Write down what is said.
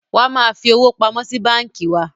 Wa máa fi owó pamọ́ sí báńkì wá!